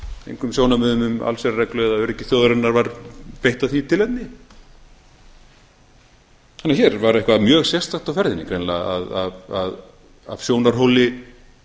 engum sjónarmiðum um allsherjarreglu eða öryggi þjóðarinnar var beitt af því tilefni þannig að hér var eitthvað mjög sérstakt á ferðinni greinilega af sjónarhóli